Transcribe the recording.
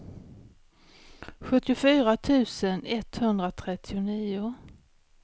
sjuttiofyra tusen etthundratrettionio